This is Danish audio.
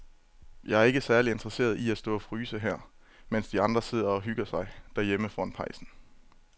Jeg er ikke særlig interesseret i at stå og fryse her, mens de andre sidder og hygger sig derhjemme foran pejsen.